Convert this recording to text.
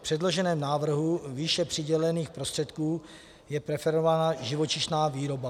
V předloženém návrhu výše přidělených prostředků je preferována živočišná výroba.